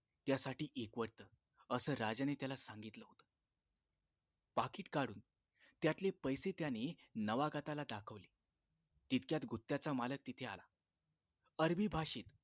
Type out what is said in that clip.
त्यासाठी एकवटत असं राजाने त्याला सांगितलं होत पाकीट काढुन त्यातले पैसे त्याने नवागताला दाखवले तितक्यात गुत्त्याचा मालक तिथे आला अरबी भाषेत